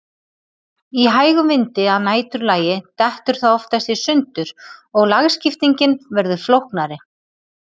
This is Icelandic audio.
Í hægum vindi að næturlagi dettur það oftast í sundur og lagskiptingin verður flóknari.